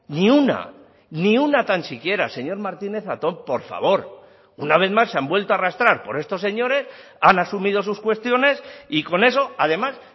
ni una ni una tan siquiera señor martínez zatón por favor una vez más se han vuelto a arrastrar por estos señores han asumido sus cuestiones y con eso además